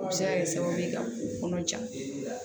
U bɛ se ka kɛ sababu ye ka u kɔnɔ jan